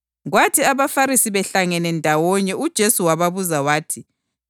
“Licabangani ngoKhristu? Uyindodana kabani?” Baphendula bathi, “Yindodana kaDavida.”